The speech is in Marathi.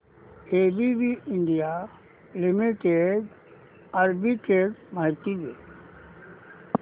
एबीबी इंडिया लिमिटेड आर्बिट्रेज माहिती दे